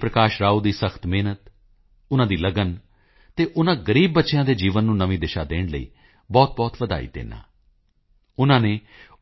ਪ੍ਰਕਾਸ਼ ਰਾਓ ਦੀ ਸਖਤ ਮਿਹਨਤ ਉਨ੍ਹਾਂ ਦੀ ਲਗਨ ਅਤੇ ਉਨ੍ਹਾਂ ਗ਼ਰੀਬ ਬੱਚਿਆਂ ਦੇ ਜੀਵਨ ਨੂੰ ਨਵੀਂ ਦਿਸ਼ਾ ਦੇਣ ਲਈ ਬਹੁਤਬਹੁਤ ਵਧਾਈ ਦਿੰਦਾ ਹਾਂ ਉਨ੍ਹਾਂ ਨੇ